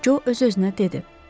Co öz-özünə dedi.